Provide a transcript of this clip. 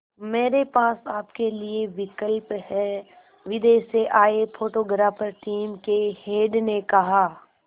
मेरे पास आपके लिए विकल्प है विदेश से आए फोटोग्राफर टीम के हेड ने कहा